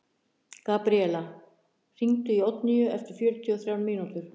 Gabríella, hringdu í Oddnýju eftir fjörutíu og þrjár mínútur.